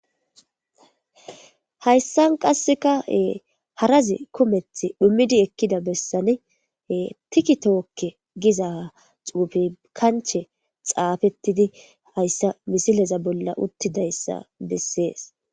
Hayssane qasseka harazi kumeththi dhummaidi ekkida bessan tiikitooke giiza xuufey kanchche xaffetidi hayssa missileza bolla uttidayssa besses.